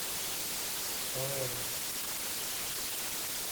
квн